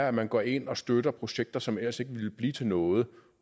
at man går ind og støtter projekter som ellers ikke ville blive til noget